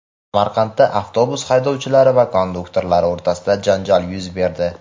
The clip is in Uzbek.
Samarqandda avtobus haydovchilari va konduktorlari o‘rtasida janjal yuz berdi.